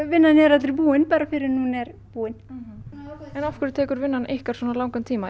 vinnan er aldrei búin fyrr en hún er búin en af hverju tekur vinnan ykkar svona langan tíma